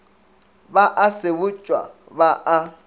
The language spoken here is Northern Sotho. ba a sebotšwa ba a